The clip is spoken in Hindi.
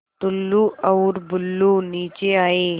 टुल्लु और बुल्लु नीचे आए